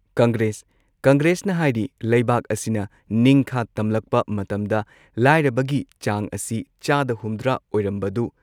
ꯀꯪꯒ꯭ꯔꯦꯁ ꯀꯪꯒ꯭ꯔꯦꯁꯅ ꯍꯥꯏꯔꯤ ꯂꯩꯕꯥꯛ ꯑꯁꯤꯅ ꯅꯤꯡꯈꯥ ꯇꯝꯂꯛꯄ ꯃꯇꯝꯗ ꯂꯥꯏꯔꯕꯒꯤ ꯆꯥꯡ ꯑꯁꯤ ꯆꯥꯗ ꯍꯨꯝꯗ꯭ꯔꯥ ꯑꯣꯢꯔꯝꯕꯗꯨ